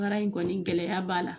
baara in kɔni gɛlɛya b'a la.